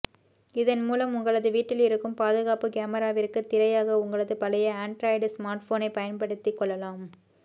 இதன் மூலம் உங்களது வீட்டில் இருக்கும் பாதுகாப்பு கேமாரவிற்கு திரையாக உங்களது பழைய ஆன்டிராய்டு ஸ்மார்ட்போனை பயன்படுபத்தி கொள்ளலாம்